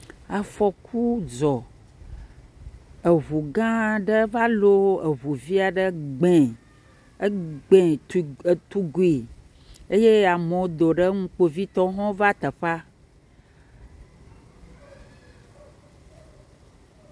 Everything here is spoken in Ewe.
Afɔku dzɔ. Eŋu gã aɖe va lo eŋu vi aɖe gbee. Egbee tu etugui eye amewo do ɖe eŋu. Kpovitɔwo hã va teƒea.